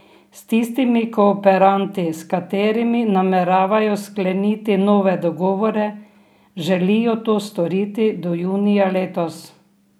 S tistimi kooperanti, s katerimi nameravajo skleniti nove dogovore, želijo to storiti do junija letos.